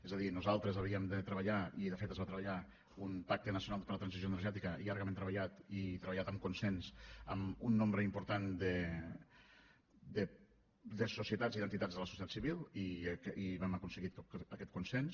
és a dir nosaltres havíem de treballar i de fet es va treballar un pacte nacional per a la transició energètica llargament treballat i treballat amb consens amb un nombre important de societats i d’entitats de la societat civil i vam aconseguir aquest consens